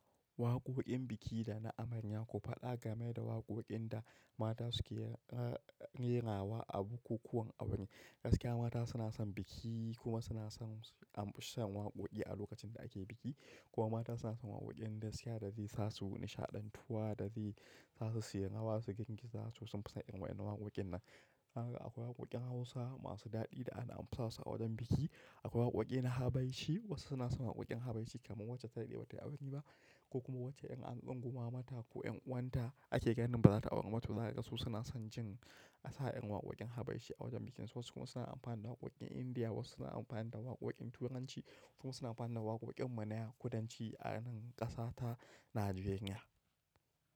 Waƙoƙin biki da na amarya ku faɗa game da waƙoƙin da mata suke rerawa a bukukuwan aure, gaskiya mata suna son biki kuma son wakoki a lokacin da ake biki kuma mata suna son wakokin gaskiya da zai sa su nishadantuwa da zai sa suyi rawa su girgiza so sun fi son irin wadannan wakokin. Haka akwai waƙoƙin Hausa masu daɗi da ana amfi sa su a wajen biki. Akwai waƙoƙi na habaishi wasu suna son waƙoƙin habaishi kamar wacce ta daɗe ba ta aure ba ko kuma wacce ƴan ango ma mata ko ƴan uwanta ake ganin ba za ta auri ba to za ka ga su suna son jin asaƴen waƙoƙin habaishi a wajen bikin su wasu kuma suna amfani da waƙoƙin Indiya wasu suna amfani da waƙoƙin Turanci wasu kuma suna amfani da waƙoƙin manaya kudanci a nan ƙasa ta Nijeriya.